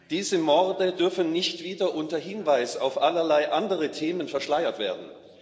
Diese Morde dürfen nicht wieder unter Hinweis auf allerlei andere Themen verschleiert werden.